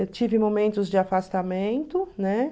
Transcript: Eu tive momentos de afastamento, né?